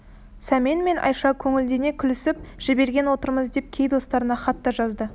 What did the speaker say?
сәмен мен айша көңілдене күлісіп жіберген отырмыз деп кей достарына хат та жазды